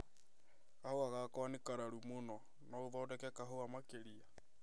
Kahua gakwa nĩ kararu mũno, no othondeke kahua makĩria.